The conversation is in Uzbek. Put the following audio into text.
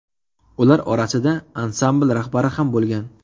Ular orasida ansambl rahbari ham bo‘lgan.